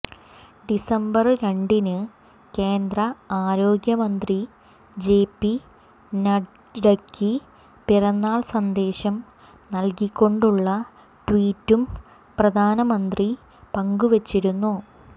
December രണ്ടിന് കേന്ദ്രആരോഗ്യമന്ത്രി JP നഡ്ഡയ്ക്ക് പിറന്നാള് സന്ദേശം നല്കിക്കൊണ്ടുള്ള ട്വീറ്റും പ്രധാനമന്ത്രി പങ്കുവച്ചിരുന്നു